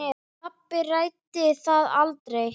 Pabbi ræddi það aldrei.